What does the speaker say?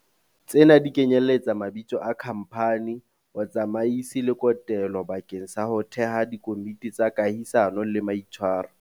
Tsena di kenyeletsa mabitso a khamphani, botsamaisi le kotelo bakeng sa ho theha dikomiti tsa kahisano le maitshwaro.